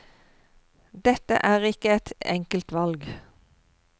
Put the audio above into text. Dette er ikke et enkelt valg.